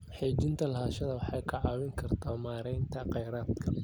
Xaqiijinta lahaanshaha waxay kaa caawin kartaa maareynta kheyraadka.